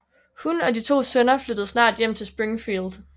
Hun og de to sønner flyttede snart hjem til Springfield